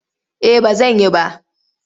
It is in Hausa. Eh ba zan yi ba.